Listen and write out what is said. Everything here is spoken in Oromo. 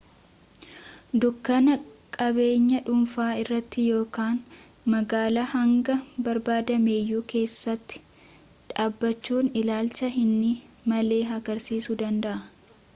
dunkaana qabeenya dhunfaa irratti ykn magaala hanga barbaadameyyuu keessatti dhaabbachuun ilaalcha hin malle harkiisuu danda'a